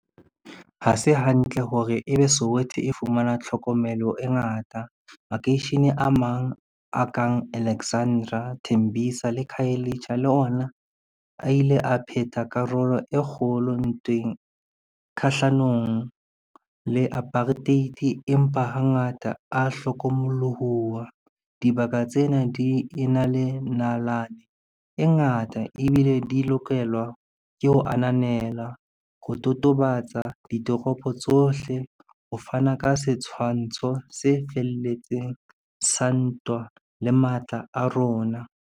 Ha se hantle hore ebe Soweto e fumana tlhokomelo e ngata. Makeishene a mang a kang Alexandera, Tembisa le Khayelitsha le ona a ile a phetha karolo e kgolo ntweng kgahlanong le apartheid, empa hangata a hlokomolohoha auwa. Dibaka tsena di e na le nalane e ngata ebile di lokelwa ke ho ananela, ho totobatsa ditoropo tsohle ho fana ka setshwantsho se felletseng sa ntwa le matla a rona.